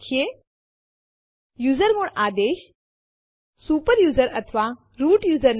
આપણે જોયું કે જો ફાઈલ પહેલાથી જ હાજર બીજી ફાઇલ માં કોપી થાય તો પેહલા થી હાજર ફાઈલ ઓવરરાઈત થાય છે